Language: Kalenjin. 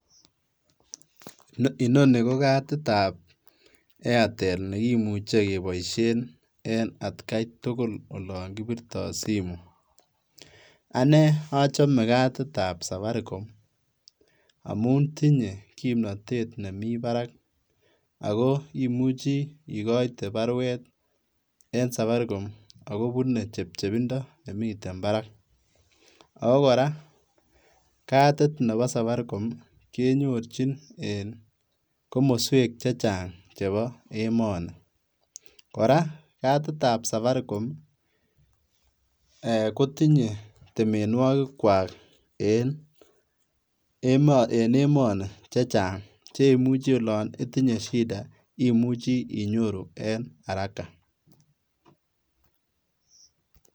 Inoni ko katitab Airtel nekimuche keboisien en atkaitugul olon kipirto simoit, ane ochome katitab Safaricom amun tinye kimnotet nemi barak ako imuchi ikoite baruet en Safaricom akobune chepchepindo neminten barak ,ako koraa katit nebo Safaricom kenyorchin en komoswek chechan chebo emoni ,koraa katitab Safaricom ee kotinye temenwokikwak en emoni chechang chemuchi olon itinye shida imuche inyoru en araka.